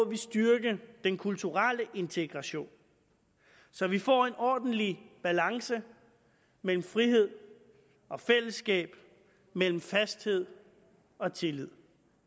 vi styrke den kulturelle integration så vi får en ordentlig balance mellem frihed og fællesskab mellem fasthed og tillid